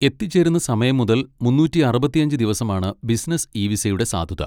എത്തിച്ചേരുന്ന സമയം മുതൽ മുന്നൂറ്റി അറുപത്തിയഞ്ച് ദിവസമാണ് ബിസിനസ് ഇ വിസയുടെ സാധുത.